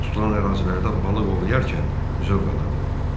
Balıq tutulan ərazilərdə balıq ovlayarkən zövq alırdım.